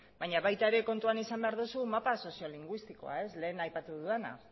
baina kontutan izan behar duzu mapa soziolinguistikoa lehen aipatu dudana